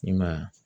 I ma ye wa